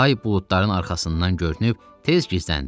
Ay buludların arxasından görünüb tez gizləndi.